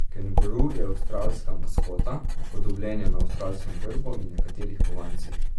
Kenguru je avstralska maskota, upodobljen je na avstralskem grbu in nekaterih kovancih.